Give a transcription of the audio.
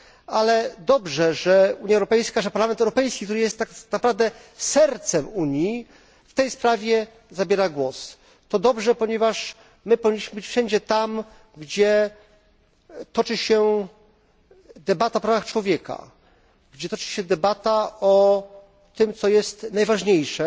Ale dobrze, że Unia Europejska, że Parlament Europejski, który jest tak naprawdę sercem Unii, w tej sprawie zabiera głos. To dobrze, ponieważ my powinniśmy być wszędzie tam, gdzie toczy się debata o prawach człowieka, gdzie toczy się debata o tym, co jest najważniejsze,